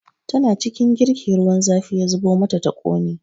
Tana cikin girki ruwan zafi ya zubo mata ta ƙone